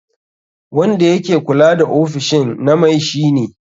Wanda yake kula da ofishin na mai shi ne.